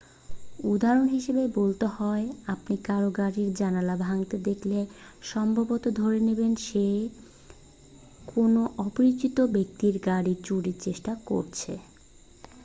উদাহরণ হিসাবে বলতে হয় আপনি কারও গাড়ির জানালা ভাঙতে দেখলে সম্ভবত ধরে নেবেন যে সে কোনও অপরিচিত ব্যক্তির গাড়ি চুরির চেষ্টা করছে